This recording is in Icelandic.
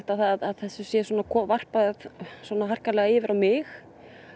að þessu sé varpa svona harkalega yfir á mig